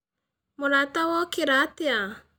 Mũrata wokĩra atĩa?